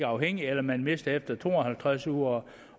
afhængig eller man mister sygedagpengene efter to og halvtreds uger